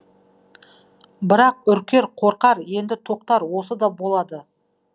бірақ үркер қорқар енді тоқтар осы да болады